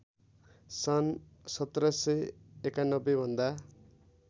सन् १७९१ भन्दा